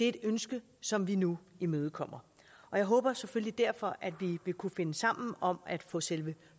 et ønske som vi nu imødekommer og jeg håber selvfølgelig derfor at vi vil kunne finde sammen om at få selve